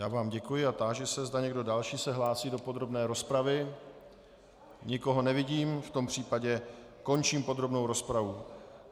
Já vám děkuji a táži se, zda někdo další se hlásí do podrobné rozpravy Nikoho nevidím, v tom případě končím podrobnou rozpravu.